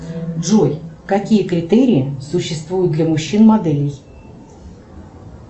джой какие критерии существуют для мужчин моделей